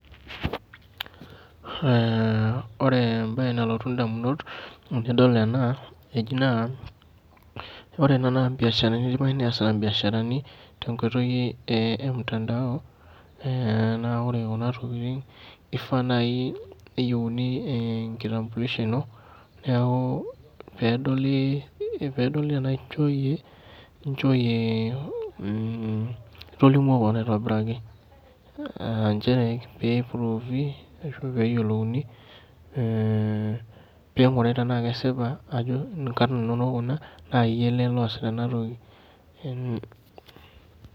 Ore ebae nalotu indamunot tenadol ena, eji naa, ore ena na ibiasharani idimayu nesita ibiasharani tenkoitoi emtandao, na ore kuna tokiting kifaa nai neyieuni enkitambilisho ino, neeku pedoli enaa inchoyie itolimuo keon aitobiraki. Njere pipruvi ashu peyiolouni ping'urari tenaa kesipa tenaa kaninonok kuna, na yie ele loosita enatoki.